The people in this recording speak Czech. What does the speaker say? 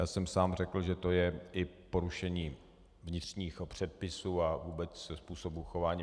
Já jsem sám řekl, že to je i porušení vnitřních předpisů a vůbec způsobu chování .